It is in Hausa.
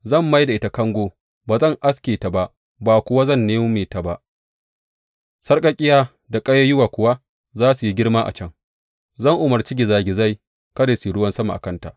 Zan mai da ita kango, ba zan aske ta ba, ba kuwa zan nome ta ba, sarƙaƙƙiya da ƙayayyuwa kuwa za su yi girma a can Zan umarci gizagizai kada su yi ruwan sama a kanta.